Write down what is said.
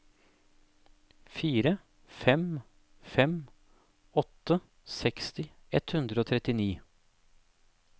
fire fem fem åtte seksti ett hundre og trettini